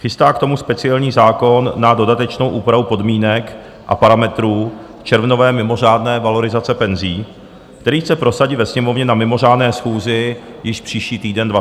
Chystá k tomu speciální zákon na dodatečnou úpravu podmínek a parametrů červnové mimořádné valorizace penzí, který chce prosadit ve Sněmovně na mimořádné schůzi již příští týden 28. února.